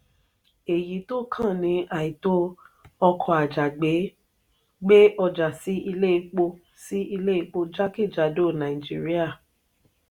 èyí tó kàn ni àìtó ọkọ àjàgbé gbé ọjà sí ilé epo sí ilé epo jakejado nàìjíríà.